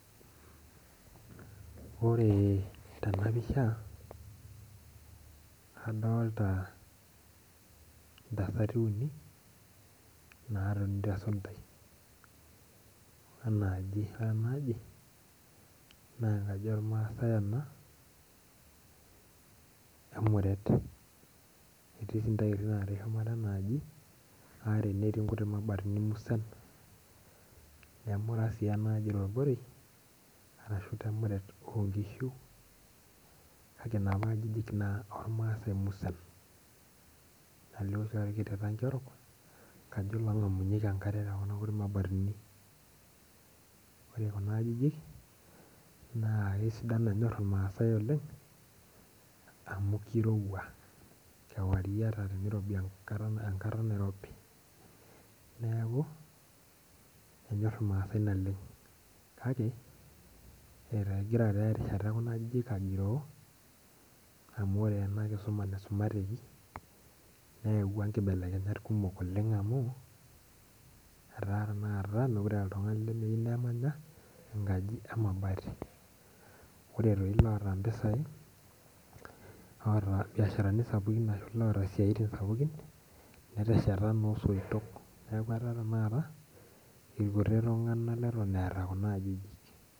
Ore tenapisha adolta ntasati natoni tesundai enaaji na enkaji ormaasai ena emuret etii ntairi are shumata enaaji netii nkutii mabatini musan nemura si enaaji temuret ashu temuret onkishu na napa ajijik ormaaasai kajo longamunyeki enkare tekuna kuti mabatini ore kuna ajijik na kenyor irmaasai amu kirowua kewarie ata irobi enkata nairobi neakubenyor irmaasai naleng kake egira erishata ekuna ajijik agiroo amu ore enakisuma neyawua nkibelekenyat kumok amu mekute eetae oltungani lemeyiueu nemany enkaji emabati, oreloota mpisai loota mbiasharani sapukin netesheta nosoitok neaku ore tanakata irkuti tunganak oota kuna ajijik.